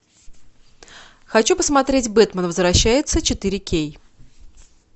хочу посмотреть бэтмен возвращается четыре кей